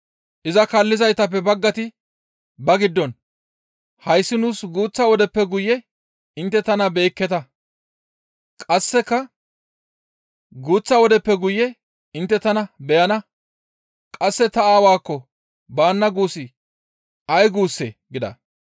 Iza kaallizaytappe baggati ba giddon, « ‹Hayssi nuus guuththa wodeppe guye intte tana beyekketa; qasseka guuththa wodeppe guye intte tana beyana; qasse ta Aawaakko baana› guussi ay guussee?» gida.